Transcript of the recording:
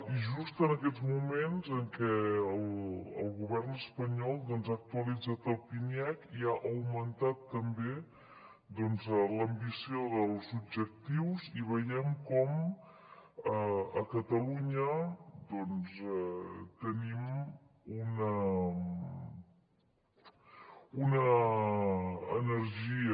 i just en aquests moments en què el govern espanyol ha actualitzat el pniec i ha augmentat també l’ambició dels objectius i veiem com a catalunya doncs tenim una energia